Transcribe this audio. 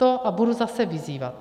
To, a budu zase vyzývat.